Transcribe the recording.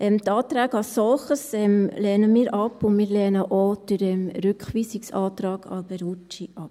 Die Anträge als solche lehnen wir ab, und wir lehnen auch den Rückweisungsantrag Alberucci ab.